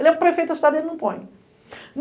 Ele é prefeito, a cidadania não põe.